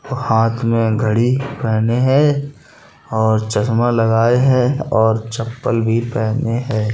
हाथ मे घड़ी पहने हैं और चश्मा लगाये है और चप्पल भी पहने हैं।